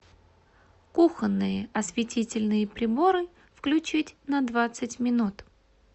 кухонные осветительные приборы включить на двадцать минут